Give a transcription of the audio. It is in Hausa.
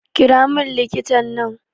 Kiramin likitan nan